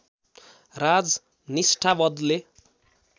राज निष्ठा बदले